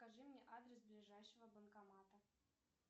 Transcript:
скажи мне адрес ближайшего банкомата